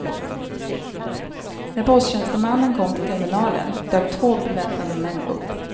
När posttjänstemannen kom till terminalen dök två beväpnade män upp.